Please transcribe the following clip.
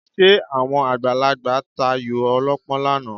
Ṣé àwọn àgbàlagbà tayò ọlọ́pọ́n lánàá?